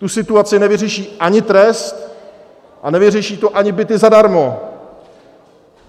Tu situaci nevyřeší ani trest a nevyřeší to ani byty zadarmo.